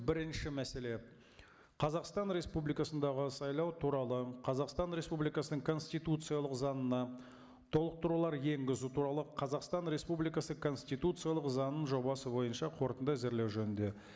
бірінші мәселе қазақстан республикасындағы сайлау туралы қазақстан республикасының конституциялық заңына толықтырулар енгізу туралы қазақстан республикасы конституциялық заңының жобасы бойынша қорытынды әзірлеу жөнінде